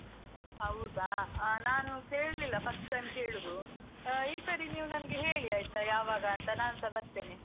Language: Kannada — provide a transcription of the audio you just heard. ಹೌದಾ ಆ ನಾನ್ ಕೇಳಿಲ್ಲ, first time ಕೇಳುದು. ಈ ಸರಿ ನೀವ್ ನಂಗೆ ಹೇಳಿ ಆಯ್ತಾ ಯಾವಾಗ ಅಂತ, ನಾನ್ಸ ಬರ್ತೇನೆ.